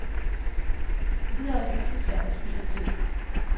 Videre drøftelser er spild af tid.